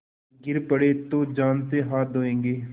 गिर पड़े तो जान से हाथ धोयेंगे